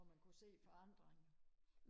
hvor man kunne se forandringer